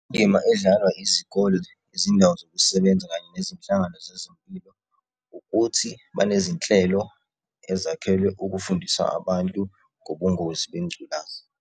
Indima edlalwa izikole izindawo zokusebenza kanye nezinhlangano zezempilo, ukuthi banezinhlelo ezakhelwe ukufundisa abantu ngobungozi bengculazi.